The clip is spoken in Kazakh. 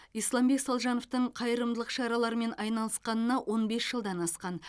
исламбек салжановтың қайырымдылық шараларымен айналысқанына он бес жылдан асқан